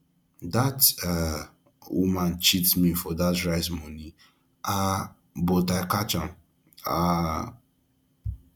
dat woman um wan cheat me for dat rice money um but i catch am um